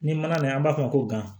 Ni mana nana an b'a f'o ma ko gan